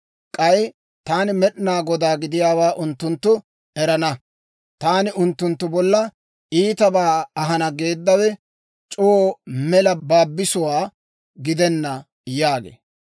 K'ay taani Med'inaa Godaa gidiyaawaa unttunttu erana. Taani unttunttu bolla iitabaa ahana geeddawe c'oo mela baabisuwaa gidenna› » yaagee.